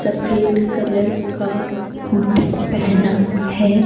सफेद कलर का हुड पहना है।